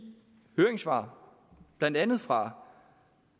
høringssvar blandt andet fra